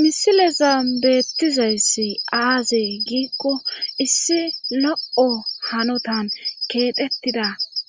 misileza beettizayssi aaze giikko issi lo7o hanotan keexettida